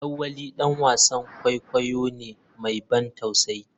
lawali dan wasan kwaikwayo ne mai ban tausayi.